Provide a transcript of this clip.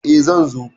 E, zan zo.